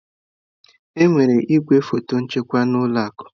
Enwere igwefọtọ nchekwa na ụlọ akụ.